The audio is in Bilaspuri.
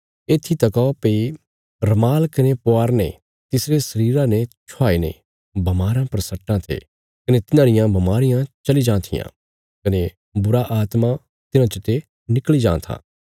येत्थी तका भई रमाल कने पुआरने तिसरे शरीरा ने छुआई ने बमाराँ पर सट्टां थे कने तिन्हांरियां बमारियां चली जां थिआं कने बुरीआत्मां तिन्हां चते निकल़ी जां थिआं